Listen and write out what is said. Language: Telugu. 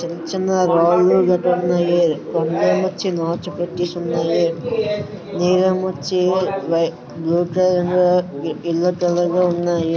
చిన్న వాగు గట్రా ఉన్నాయి. పైనొచ్చేసి నాచు పట్టేసి ఉన్నాయి. నీరొమొచ్చి వై బ్లూ కలర్ లో యెల్లో కలర్ లో ఉన్నాయి.